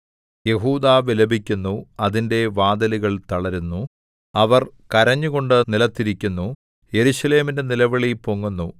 യെഹൂദാ വിലപിക്കുന്നു അതിന്റെ വാതിലുകൾ തളരുന്നു അവർ കരഞ്ഞുകൊണ്ട് നിലത്തിരിക്കുന്നു യെരൂശലേമിന്റെ നിലവിളി പൊങ്ങുന്നു